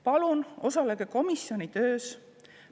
Palun osalege komisjoni töös!